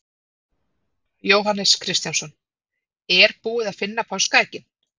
Jóhannes Kristjánsson: Er búið að finna páskaeggin?